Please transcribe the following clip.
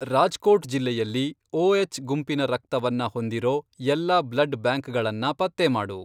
ರಾಜ್ಕೋಟ್ ಜಿಲ್ಲೆಯಲ್ಲಿ ಒಎಚ್, ಗುಂಪಿನ ರಕ್ತವನ್ನ ಹೊಂದಿರೋ ಎಲ್ಲಾ ಬ್ಲಡ್ ಬ್ಯಾಂಕ್ಗಳನ್ನ ಪತ್ತೆ ಮಾಡು.